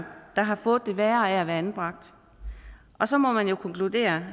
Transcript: der har fået det værre af at være anbragt og så må man jo konkludere